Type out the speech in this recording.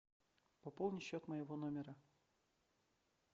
пополни счет моего номера